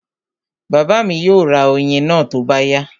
Bàbá mi yóò ra oyin náà tó bá yá